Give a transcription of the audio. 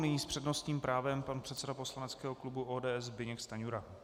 Nyní s přednostním právem pan předseda poslaneckého klubu ODS Zbyněk Stanjura.